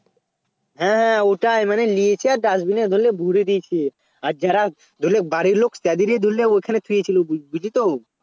হ্যাঁ হ্যাঁ ওটাই মানে নিয়েছে আর Dustbin এ ধরেলে ভোরে দিয়েছে আর যারা ধরেলে বাড়ির লোক ওখানে শুয়েছিল বুঝলিতো